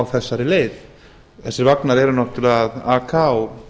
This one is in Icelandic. á þessari leið þessir vagnar eru náttúrlega að aka á